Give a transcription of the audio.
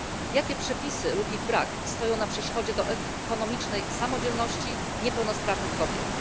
Jakie przepisy lub ich brak stoją na przeszkodzie do ekonomicznej samodzielności niepełnosprawnych kobiet?